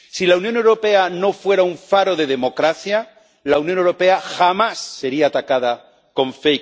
Si la Unión Europea no fuera un faro de democracia, la Unión Europea jamás sería atacada con